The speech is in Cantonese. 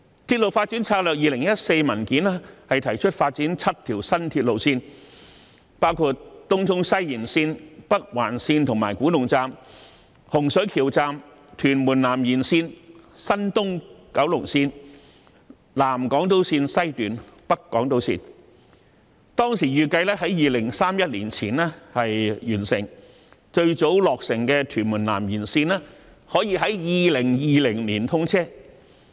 《鐵路發展策略2014》文件提出發展7條新鐵路線，包括東涌西延綫、北環綫及古洞站、洪水橋站、屯門南延綫、東九龍綫、南港島綫及北港島綫，當時預計在2031年前完成，最早落成的屯門南延綫可在2020年通車。